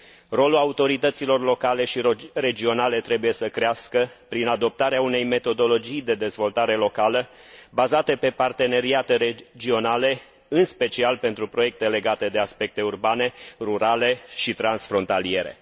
Rolul autorităților locale și regionale trebuie să crească prin adoptarea unei metodologii de dezvoltare locală, bazate pe parteneriate regionale, în special pentru proiecte legate de aspecte urbane, rurale și transfrontaliere.